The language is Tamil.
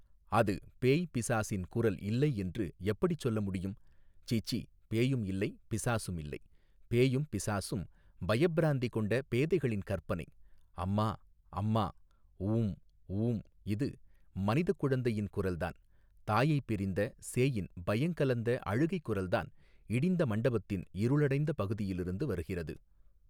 அது பேய் பிசாசின் குரல் இல்லை என்று எப்படிச் சொல்ல முடியும் சீச்சீ பேயும் இல்லை பிசாசும் இல்லை பேயும் பிசாசும் பயப்பிராந்தி கொண்ட பேதைகளின் கற்பனை அம்மா அம்மா ஊம் ஊம் இது மனிதக் குழந்தையின் குரல்தான் தாயைப் பிரிந்த சேயின் பயங்கலந்த அழுகை குரல்தான் இடிந்த மண்டபத்தின் இருளடைந்த பகுதியிலிருந்து வருகிறது.